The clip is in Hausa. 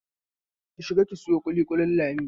Ki shiga ki sayo ƙuliƙulin Lami!